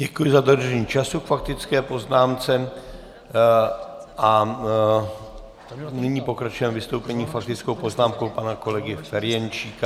Děkuji za dodržení času k faktické poznámce a nyní pokračujeme vystoupením, faktickou poznámkou pana kolegy Ferjenčíka.